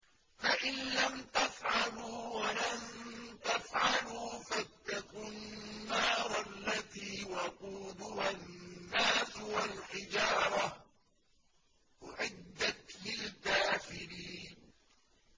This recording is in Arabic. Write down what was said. فَإِن لَّمْ تَفْعَلُوا وَلَن تَفْعَلُوا فَاتَّقُوا النَّارَ الَّتِي وَقُودُهَا النَّاسُ وَالْحِجَارَةُ ۖ أُعِدَّتْ لِلْكَافِرِينَ